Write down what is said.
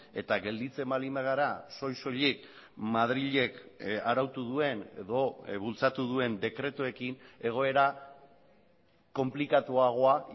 eta gelditzen baldin bagara soil soilik madrilek arautu duen edo bultzatu duen dekretuekin egoera konplikatuagoa